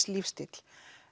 lífsstíll